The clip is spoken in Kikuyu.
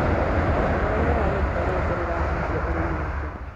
ũrĩa riera rĩikaire rĩrahutia ũrĩmi atĩa.